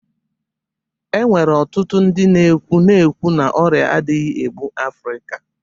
E nwere ọtụtụ ndị na-ekwu na-ekwu na ọrịa adịghị egbu African